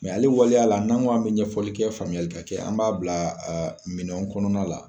ale waleya la n'an k' an bɛ ɲɛfɔlikɛ faamuyali ka kɛ an b'a bila minɛnw kɔnɔna la.